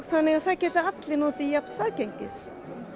þannig að það geta allir notið jafns aðgengis